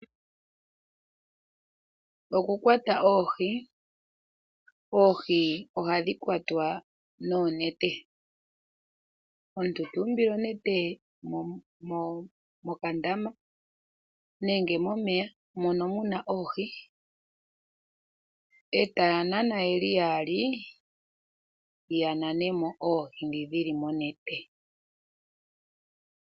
Oku kwata oohi Oohi ohadhi kwatwa noonete. Omuntu tu umbile onete mokandama nenge momeya mono muna oohi, e taa nana ye li yaali, ya nane mo oohi nge dhi li monete.